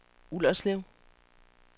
Ullerslev